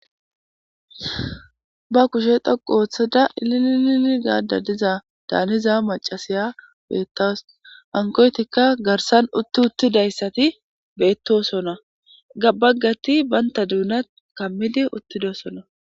Ba kushe thoqu ooththada iliilili gaadda diza daaniza macasiya beettaws hankoytikka garsan utti uttidayssati beettosona gabbaggati banta duuna kammidi uttidosona.